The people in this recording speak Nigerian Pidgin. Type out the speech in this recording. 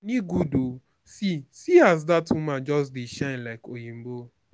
money good oo see see as dat woman just dey shine like oyibo